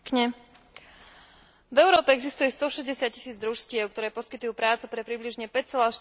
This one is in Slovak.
V Európe existuje stošesťdesiattisíc družstiev, ktoré poskytujú prácu pre približne 5,4 milióna zamestnancov.